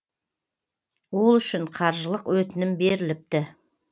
ол үшін қаржылық өтінім беріліпті